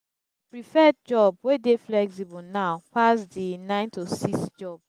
prefer job wey de flexible now pass di nine to six jobs